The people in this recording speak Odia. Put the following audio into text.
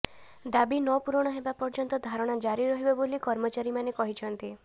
ଦାବି ନ ପୁରଣ ହେବା ପର୍ଯ୍ୟନ୍ତ ଧାରଣା ଜାରି ରହିବ ବୋଲି କର୍ମଚାରୀମାନେ କହିଛନ୍ତି